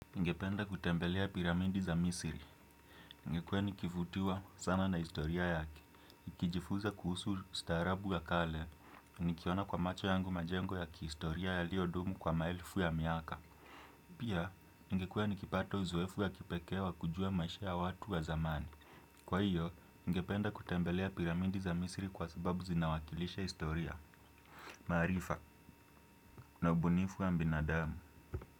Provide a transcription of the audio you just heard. Ningependa kutembelea piramidi za misiri. Nimekuwa nikivutiwa sana na historia yake. Ikijifuza kuhusu ustaarabu ya kale, nikiona kwa macho yangu majengo ya kiistoria yaliodumu kwa maelfu ya miaka. Pia, ningekuwa nikipata uzoefu wa kipekee wa kujua maisha ya watu wa zamani. Kwa hiyo, ningependa kutembelea piramidi za misiri kwa sababu zinawakilisha istoria, maarifa na ubunifu wa mbinadamu.